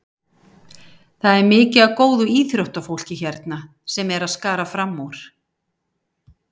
Það er mikið af góðu íþróttafólki hérna sem er að skara fram úr.